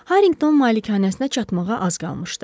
Harrington malikanəsinə çatmağa az qalmışdı.